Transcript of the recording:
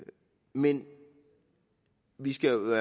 men vi skal jo